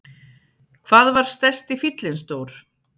Hvað var stærsti fíllinn stór?